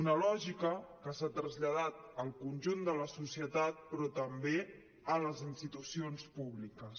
una lògica que s’ha traslladat al conjunt de la societat però també a les institucions públiques